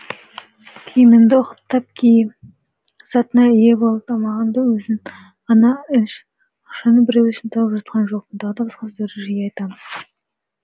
киіміңді ұқыптап ки затыңа ие бол тамағыңды өзің ғана іш ақшаны біреу үшін тауып жатқан жоқпын тағы да басқа сөздерді жиі айтамыз